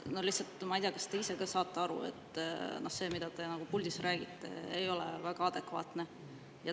Ma ei tea, kas te ise ka aru saate, et see, mida te puldist räägite, ei ole väga adekvaatne.